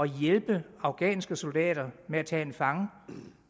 hjælpe afghanske soldater med at tage en fange